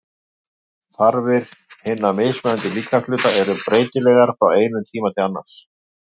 Þarfir hinna mismunandi líkamshluta eru breytilegar frá einum tíma til annars.